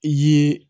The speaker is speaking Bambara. I ye